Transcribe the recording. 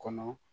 Kɔnɔ